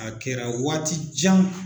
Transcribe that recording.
A kɛra waati jan.